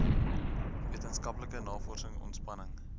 wetenskaplike navorsing ontspanning